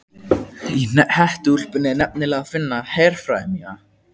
Í hettuúlpunni er nefnilega að finna herfræði mína.